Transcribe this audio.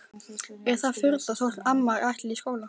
Er það furða þótt amman ætli í skóla?